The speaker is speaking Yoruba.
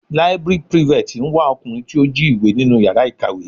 Library prefect ń wá ọkùnrin tí ó jí ìwé nínú yàrá ìkàwé.